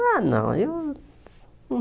Ah não eu